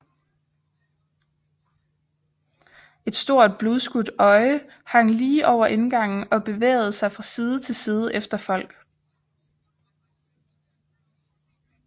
Et stort blodskudt øje hang lige over indgangen og bevægede sig fra side til side efter folk